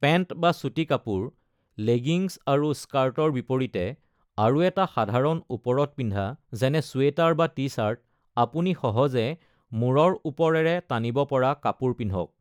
Pant বা চুটি কাপোৰ (লেগিংছ আৰু স্কাৰ্টৰ বিপৰীতে) আৰু এটা সাধাৰণ ওপৰত পিন্ধা, যেনে চুৱেটাৰ বা টি-চাৰ্ট আপুনি সহজে মূৰৰ ওপৰেৰে টানিব পৰা কাপোৰ পিন্ধক।